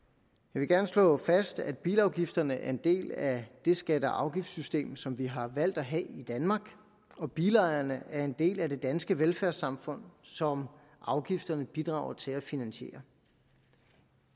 vil gerne slå fast at bilafgifterne er en del af det skatte og afgiftssystem som vi har valgt at have i danmark og bilejerne er en del af det danske velfærdssamfund som afgifterne bidrager til at finansiere